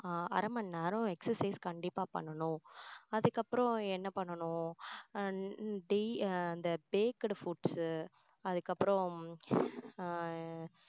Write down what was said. அரை மணி நேரம் exercise கண்டிப்பா பண்ணணும் அதுக்கப்புறம் என்ன பண்ணணும் டை~ அந்த baked foods அதுக்கப்பறம் ஆஹ்